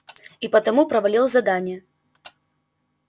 и потому провалил задание